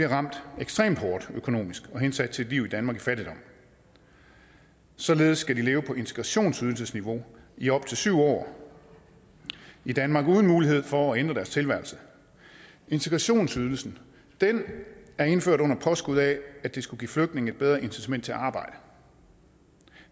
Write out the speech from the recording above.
ramt ekstremt hårdt økonomisk og bliver hensat til et liv i danmark i fattigdom således skal de leve på integrationsydelsesniveau i op til syv år i danmark uden mulighed for at ændre deres tilværelse integrationsydelsen er indført under påskud af at den skulle give flygtninge et bedre incitament til at arbejde